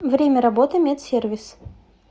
время работы медсервис